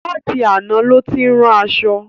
Látì aná ló ti ń rán aṣọ̣.